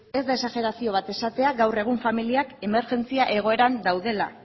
ez da exajerazio bat esatea gaur egun familiak emergentzia egoeran daudela